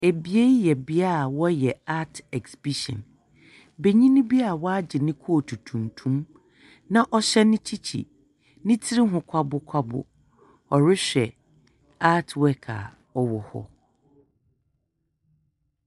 Bea yi yɛ yɛ bea a wɔyɛ art exhibition. Benyin bi ɔagye ne coat tuntum, na ɔhyɛ ne kyikyi. Ne tsir ho kwabokwabo. Ɔrehwɛ art work ɔwɔ hɔ.